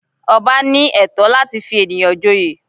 Ọba ní ẹ̀tọ́ láti fi ènìyàn joyè